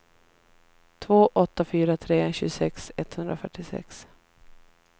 två åtta fyra tre tjugosex etthundrafyrtiosex